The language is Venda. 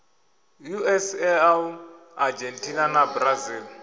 us eu argentina na brazil